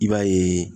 I b'a ye